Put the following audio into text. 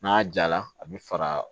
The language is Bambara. N'a jala a bɛ faga